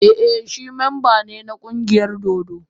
Ee, shi mamba ne na kungiyar dodo.